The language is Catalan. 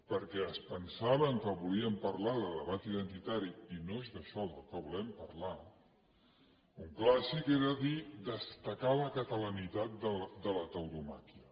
perquè es pensaven que volíem parlar de debat identitari i no és d’això del que volem parlar un clàssic era dir destacar la catalanitat de la tauromàquia